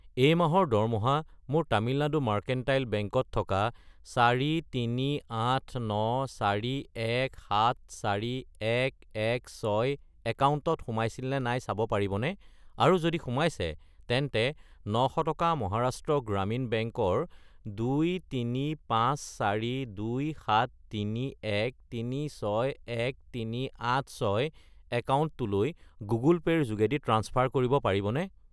এই মাহৰ দৰমহা মোৰ তামিলনাডু মাৰ্কেণ্টাইল বেংক ত থকা 43894174116 একাউণ্টত সোমাইছিল নে নাই চাব পাৰিবনে, আৰু যদি সোমাইছে তেন্তে 900 টকা মহাৰাষ্ট্ৰ গ্ৰামীণ বেংক ৰ 23542731361386 একাউণ্টটোলৈ গুগল পে' ৰ যোগেদি ট্ৰাঞ্চফাৰ কৰিব পাৰিবনে?